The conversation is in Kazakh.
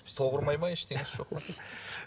тоқ ұрмайды ма ештеңесі жоқ па